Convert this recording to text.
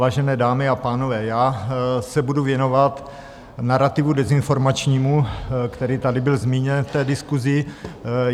Vážené dámy a pánové, já se budu věnovat narativu dezinformačnímu, který tady byl zmíněn v té diskusi.